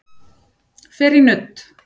Fer í nudd